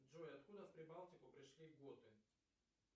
джой откуда в прибалтику пришли готы